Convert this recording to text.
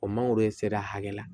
O mangoro ser'a hakɛ la